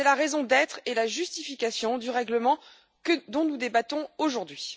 C'est la raison d'être et la justification du règlement dont nous débattons aujourd'hui.